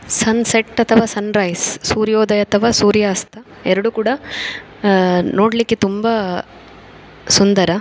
ಸನ್ set ಅಥವ sunrise ಸೂರ್ಯೋದಯ ಅಥವ ಸೂರ್ಯಾಸ್ತಾ ಎರಡು ಕೂಡ ಅಹ್ ನೋಡ್ಲಿಕ್ಕೆ ತುಂಬಾ ಸುಂದರ .